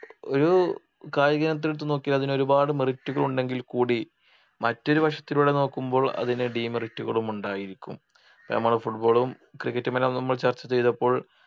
ഒരു കായിക ഇനത്തിലത്തു നോക്കിയാൽ അതിന് ഒരുപാട് merit കളുണ്ടെങ്കിൽ കൂടി മറ്റൊരു വശത്തിലൂടെ നോക്കുമ്പോൾ അതിന് Demerit കളും ഉണ്ടായിരിക്കും നമ്മുടെ Football ഉം Cricket ഉം എല്ലാം നമ്മൾ ചർച്ച ചെയ്തപ്പോൾ